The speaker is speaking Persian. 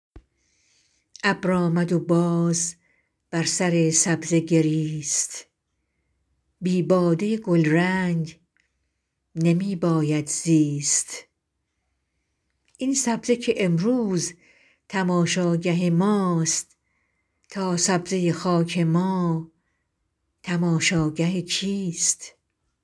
ابر آمد و باز بر سر سبزه گریست بی باده گلرنگ نمی باید زیست این سبزه که امروز تماشاگه ماست تا سبزه خاک ما تماشاگه کیست